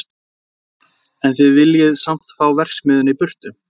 Jóhann: En þið viljið samt fá verksmiðjuna í burtu?